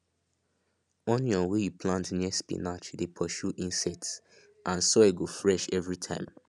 onion wey you plant near spinach dey pursue insects and soil go fresh every time